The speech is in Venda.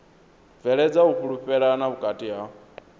bveledza u fhulufhelana vhukati ha